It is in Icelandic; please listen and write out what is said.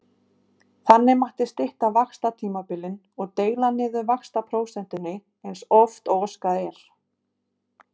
Þannig mætti stytta vaxtatímabilin og deila niður vaxtaprósentunni eins oft og óskað er.